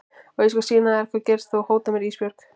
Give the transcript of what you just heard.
Og ég skal sýna þér hvað gerist ef þú hótar mér Ísbjörg.